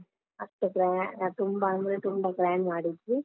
ಅಷ್ಟು ಗ್ರಾ~ ತುಂಬಾ ಅಂದ್ರೆ ತುಂಬಾ grand ಮಾಡಿದ್ವಿ.